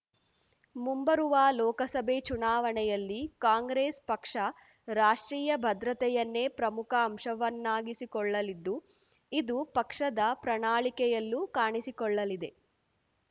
ಮುಂಬರುವ ಲೋಕಸಭೆ ಚುನಾವಣೆಯಲ್ಲಿ ಕಾಂಗ್ರೆಸ್ ಪಕ್ಷ ರಾಷ್ಟ್ರೀಯ ಭದ್ರತೆಯನ್ನೇ ಪ್ರಮುಖ ಅಂಶವನ್ನಾಗಿಸಿಕೊಳ್ಳಲಿದ್ದು ಇದು ಪಕ್ಷದ ಪ್ರಣಾಳಿಕೆಯಲ್ಲೂ ಕಾಣಿಸಿಕೊಳ್ಳಲಿದೆ